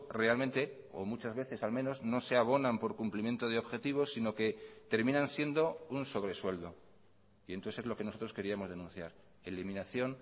realmente o muchas veces al menos no se abonan por cumplimiento de objetivos sino que terminan siendo un sobresueldo y entonces es lo que nosotros queríamos denunciar eliminación